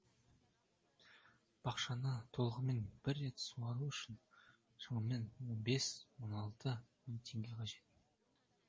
бақшаны толығымен бір рет суару үшін шамамен он бес он алты мың теңге қажет